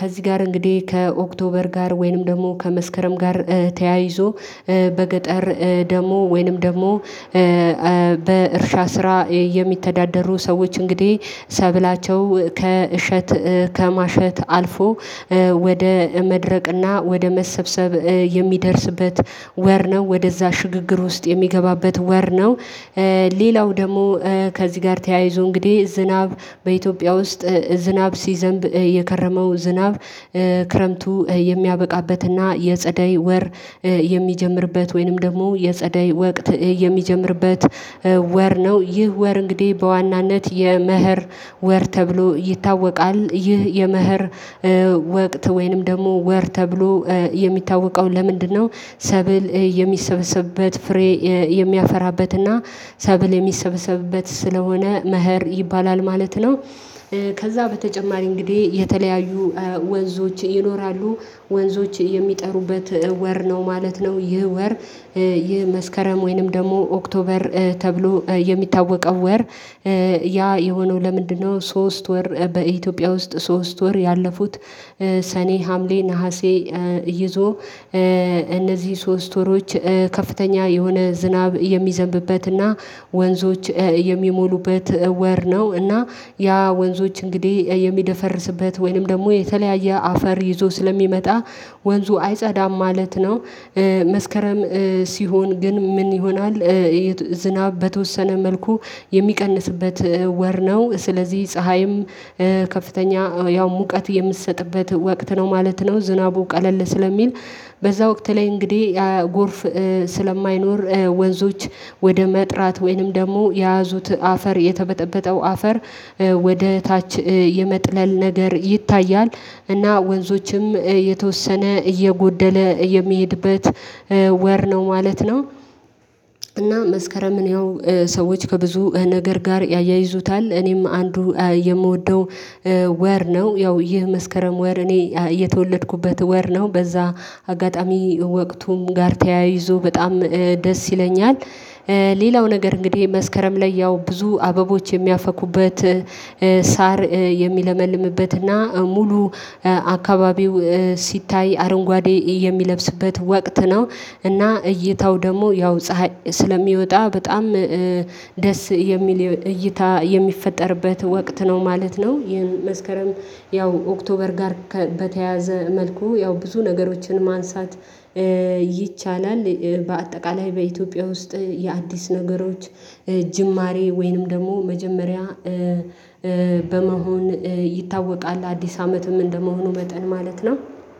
ከዚህ ጋር እንግዲህ ከኦክቶበር ጋር ወይንም ደግሞ ከመስከረም ጋር ተያይዞ በገጠር ደግሞ ወይንም ደግሞ በእርሻ ስራ የሚተዳደሩ ሰዎች እንግዲህ ሰብላቸው ከእሸት ከማሸት አልፎ ወደ መድረቅና ወደ መሰብሰብ የሚደርስበት ወር ነው ወደዛ ሽግግር ውስጥ የሚገባበት ወር ነው። ሌላው ደግሞ ከዚህ ጋር ተያይዞ እንግዲህ ዝናብ በኢትዮጵያ ውስጥ ዝናብ ሲዘንብ የከረመው ዝናብ ክረምቱ የሚያበቃበትና የጸደይ ወር የሚጀምርበት ወይንም ደግሞ የጸደይ ወቅት የሚጀምርበት ወር ነው። ይህ ወር እንግዲህ በዋናነት የመህር ወር ተብሎ ይታወቃል ይህ የመህር ወቅት ወይንም ደግሞ ወር ተብሎ የሚታወቀው ለምንድነው ሰብል የሚሰበሰብበት ፍሬ የሚያፈራበትና ሰብል የሚሰበሰብበት ስለሆነ መኸር ይባላል ማለት ነው። ከዛ በተጨማሪ እንግዲህ የተለያዩ ወንዞች ይኖራሉ ወንዞች የሚጠሩበት ወር ነው ማለት ነው። ይህ ወር ይህ መስከረም ወይንም ደግሞ ኦክቶበር ተብሎ የሚታወቀው ወር። ያ የሆነው ለምንድነው ሶስት ወር በኢትዮጵያ ውስጥ ሶስት ወር ያለፉት ሰኔ ሀምሌ ነሀሴ ይዞ እነዚህ ሶስት ወሮች ከፍተኛ የሆነ ዝናብ የሚዘንብበትና ወንዞች የሚሞሉበት ወር ነው። እና ያ ወንዞች እንግዲህ የሚደፈርስበት ወይንም ደግሞ የተለያየ አፈር ይዞ ስለሚመጣ ወንዙ አይጸዳም ማለት ነው። መስከረም ሲሆን ግን ምን ይሆናል? የዝናብ በተወሰነ መልኩ የሚቀንስበት ወር ነው ስለዚህ ፀሀይም ከፍተኛ ያው ሙቀት የምትሰጥበት ወቅት ነው ማለት ነው። ዝናቡ ቀለል ስለሚል በዛ ወቅት ላይ እንግዲህ የጎርፍ ስለማይኖር ወንዞች ወደ መጥራት ወይንም ደግሞ የያዙት አፈር የተበጠበጠው አፈር ወደ ታች የመጥለል ነገር ይታያል እና ወንዞችም የተወሰነ እየጎደለ የሚሄድበት ወር ነው ማለት ነው። እና መስከረምን ያው ሰዎች ከብዙ ነገር ጋር ያያይዙታል እኔም አንዱ የምወደው ወር ነው። ያው ይህ መስከረም ወር እኔ የተወለድኩበት ወር ነው። በዛ አጋጣሚ ወቅቱም ጋር ተያይዞ በጣም ደስ ይለኛል። ሌላው ነገር እንግዲህ መስከረም ላይ ያው ብዙ አበቦች የሚያፈኩበት ሳር የሚለመልምበትና ሙሉ አካባቢው ሲታይ አረንጓዴ የሚለብስበት ወቅት ነው። እና እይታው ደግሞ ያው ፀሀይ ስለሚወጣ በጣም ደስ የሚል እይታ የሚፈጠርበት ወቅት ነው ማለት ነው። ይህን መስከረም ያው ኦክቶበር ጋር በተያዘ መልኩ ያው ብዙ ነገሮችን ማንሳት ይቻላል። በአጠቃላይ በኢትዮጵያ ውስጥ የአዲስ ነገሮች ጅማሬ ወይንም ደግሞ መጀመሪያ በመሆን ይታወቃል። አዲስ አመትም እንደመሆኑ መጠን ማለት ነው።